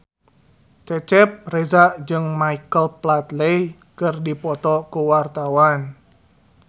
Cecep Reza jeung Michael Flatley keur dipoto ku wartawan